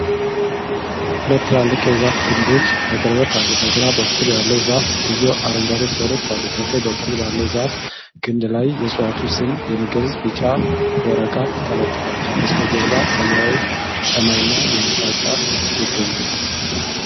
ሁለት ትላልቅ የዛፍ ግንድች በቅርበት አሉ። በግራ በኩል ያለው ዛፍ ብዙ አረንጓዴ ቅጠሎች አሉት። በቀኝ በኩል ባለው የዛፍ ግንድ ላይ የእጽዋቱን ስም የሚገልጽ ቢጫ ወረቀት ተለጥፏል። ከበስተጀርባ ሰማያዊ ሰማይና የህንጻ ጫፍ ይገኛሉ።